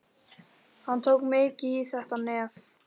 Hann tók mikið í þetta nef.